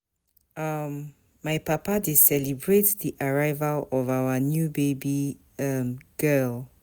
um My papa dey celebrate di arrival of our new baby um girl.